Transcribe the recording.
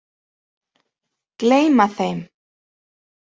Gleyma þeim.